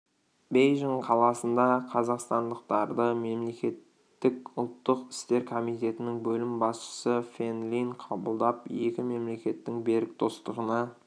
бейжің қаласында қазақстандықтарды мемлекеттік ұлттық істер комитетінің бөлім басшысы фэн лин қабылдап екі мемлекеттің берік достығына